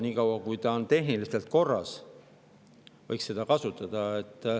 Nii kaua kui see on tehniliselt korras, võiks seda kasutada.